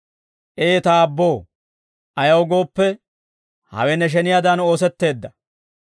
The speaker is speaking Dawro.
Ee ta Aabboo, ayaw gooppe, hawe ne sheniyaadan oosetteedda.